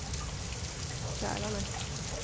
Kälarne